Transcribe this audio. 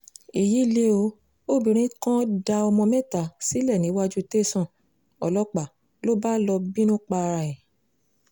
èyí lẹ ó obìnrin kan dá ọmọ mẹ́ta sílẹ̀ níwájú tẹ́sán ọlọ́pàá ló bá lọ́ọ bínú para ẹ̀